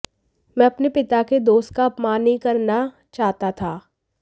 मैं अपने पिता के दोस्त का अपमान नहीं करना चाहता था